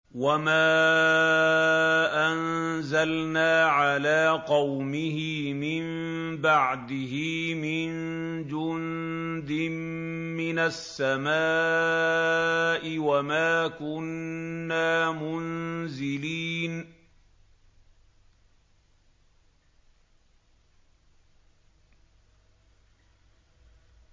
۞ وَمَا أَنزَلْنَا عَلَىٰ قَوْمِهِ مِن بَعْدِهِ مِن جُندٍ مِّنَ السَّمَاءِ وَمَا كُنَّا مُنزِلِينَ